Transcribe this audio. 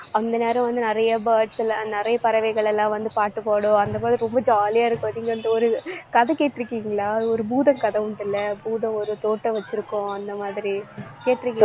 அந்த நேரம் வந்து நிறைய birds ல நிறைய பறவைகள் எல்லாம் வந்து பாட்டு பாடும் அந்த மாதிரி ரொம்ப jolly ஆ இருக்கு நீங்க அந்த ஒரு கதை கேட்டுருக்கீங்களா? ஒரு பூதக்கதை ஒண்ணுத்துல, பூதம், ஒரு தோட்டம் வச்சிருக்கும் அந்த மாதிரி கேட்டுருக்கீங்~